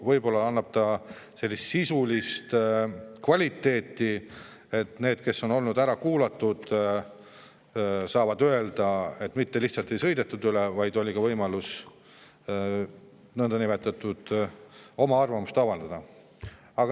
Võib-olla oleks ikkagi sisulist kvaliteeti, nii et need, kes on olnud ära kuulatud, saavad öelda, et neist ei sõidetud üle, vaid oli ka võimalus oma arvamust avaldada.